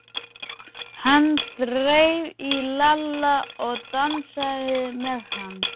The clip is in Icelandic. Hann þreif í Lalla og dansaði með hann.